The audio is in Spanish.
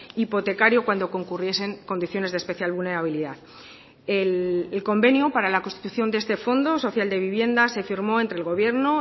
hipotecario cuando concurriesen condiciones de especial vulnerabilidad el convenio para la constitución de este fondo social de vivienda se firmó entre el gobierno